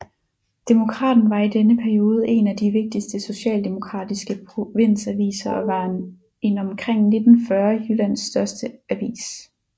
Demokraten var i denne periode en af de vigtigste socialdemokratiske provinsaviser og var en omkring 1914 Jyllands største avis